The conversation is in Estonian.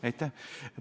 Aitäh!